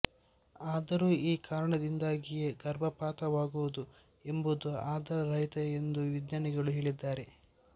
ಆದರೂ ಈ ಕಾರಣದಿಂದಾಗಿಯೇ ಗರ್ಭಪಾತವಾಗುವುದು ಎಂಬುದು ಆಧಾರ ರಹಿತ ಎಂದು ವಿಜ್ಞಾನಿಗಳು ಹೇಳಿದ್ದಾರೆ